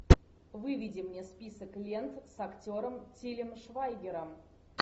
выведи мне список лент с актером тилем швайгером